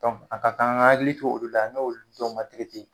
a ka kan an k'an, hakili to olu la ,n'olu dɔn na tigitigi.